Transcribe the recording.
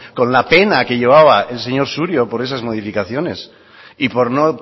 con la pena que llevaba el señor surio por esas modificaciones y por no